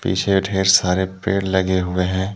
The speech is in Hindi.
पीछे ढेर सारे पेड़ लगे हुए हैं।